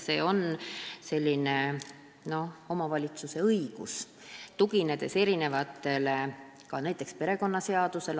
See on omavalitsuse õigus, mis lähtub näiteks kas või perekonnaseadusest.